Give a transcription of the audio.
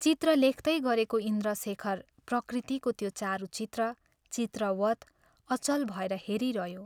चित्र लेख्तै गरेको इन्द्रशेखर प्रकृतिको त्यो चारुचित्र, चित्रवत, अचल भएर हेरिरह्यो।